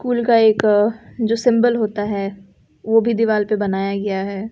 School का एक जो सिंबल होता है वो भी दीवार पे बनाया गया है।